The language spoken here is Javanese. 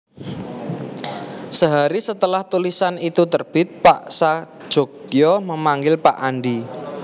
Sehari setelah tulisan itu terbit Pak Sajogyo memanggil Pak Andi